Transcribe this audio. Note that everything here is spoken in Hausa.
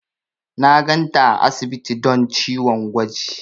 Na ganta a asibiti don ciwon gwaji.